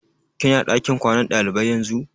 Ki na ɗakin kwanan ɗalibai yanzu?